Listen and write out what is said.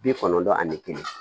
Bi kɔnɔntɔn ani kelen